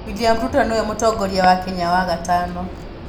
William Ruto nĩ we Mũtongoria wa Kenya wa gatano.